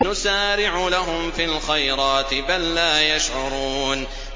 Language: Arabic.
نُسَارِعُ لَهُمْ فِي الْخَيْرَاتِ ۚ بَل لَّا يَشْعُرُونَ